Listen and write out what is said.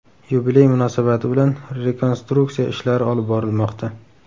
Yubiley munosabati bilan rekonstruksiya ishlari olib borilmoqda.